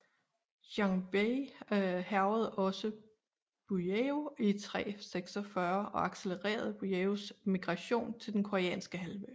Xianbei hærgede også Buyeo i 346 og accelererede Buyeos migration til Den Koreanske Halvø